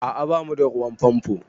A'a ba mu da ruwan famfo